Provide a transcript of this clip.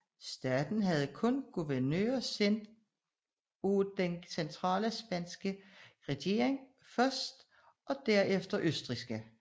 Staten havde kun guvernører sendt af den centrale spanske regering først og derefter østrigske